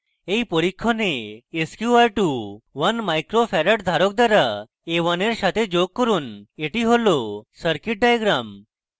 in পরীক্ষণে sqr2 1uf in micro farad ধারক দ্বারা a1 in সাথে যোগ করুন এটি হল circuit diagram